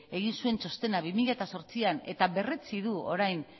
egin zuen txostena bi mila zortzian eta berretsi du orain